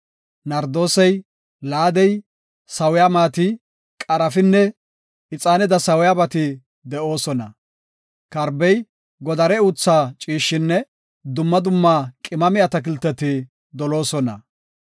Nardoosey, laadey, sawiya maati, qarafin, ixaanada sawiyabati de7oosona. Karbey, godare uutha ciishshinne dumma dumma qimame atakilteti doloosona.